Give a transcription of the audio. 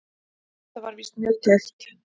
Þetta var víst mjög tæpt.